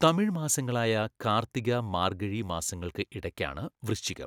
തമിഴ് മാസങ്ങളായ കാർത്തിക മാർഗ്ഗഴി മാസങ്ങൾക്ക് ഇടക്കാണ് വൃശ്ചികം.